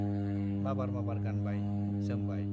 माबार माबार गानबाय , जोमबाय।